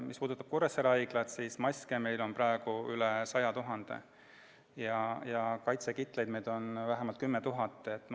Mis puudutab Kuressaare Haiglat, siis maske on meil praegu üle 100 000 ja kaitsekitleid on vähemalt 10 000.